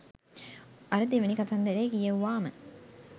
අර දෙවැනි කතන්දරේ කියෙව්වාම